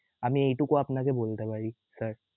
আমি আপানাকে এইটুকু বলতে পার sir